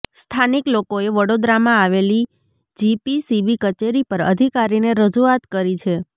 સ્થાનિક લોકોએ વડોદરામાં આવેલી જીપીસીબી કચેરી પર અધિકારીને રજૂઆત કરી છે